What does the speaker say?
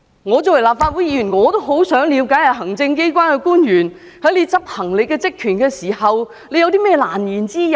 我作為立法會議員，也很想了解行政機關官員在執行職權時有何難言之隱。